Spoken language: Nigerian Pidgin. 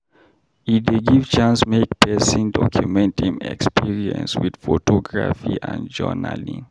E dey give chance make pesin document im experience with photography and journaling.